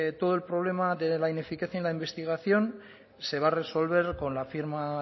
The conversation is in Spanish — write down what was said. todo el problema de la ineficacia en la investigación se va a resolver con la firma